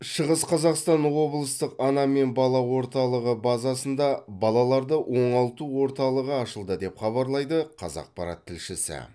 шығыс қазақстан облыстық ана мен бала орталығы базасында балаларды оңалту орталығы ашылды деп хабарлайды қазақпарат тілшісі